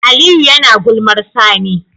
Aliyu yAna gulmar sani